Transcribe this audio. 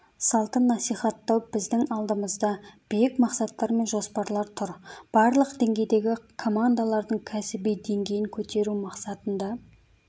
салтын насихаттау біздің алдымызда биік мақсаттар мен жоспарлар тұр барлық деңгейдегі командалардың кәсібидеңгейін көтеру мақсатында